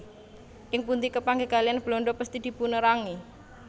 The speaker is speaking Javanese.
Ing pundi kepanggih kaliyan Belanda pesthi dipunerangi